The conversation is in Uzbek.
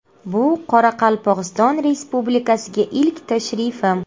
Bu Qoraqalpog‘iston Respublikasiga ilk tashrifim.